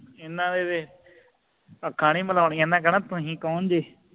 ਇਹਨਾਂ ਨੇ ਤੇ ਅੱਖਾਂ ਨਹੀਂ ਮਿਲਾਉਣੀਆਂ ਇਹਨਾਂ ਕਹਿਣਾ ਤੁਹੀ ਕੌਣ ਜੇ